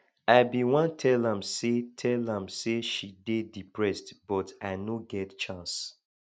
i bin wan tell am say tell am say she dey depressed but i no get chance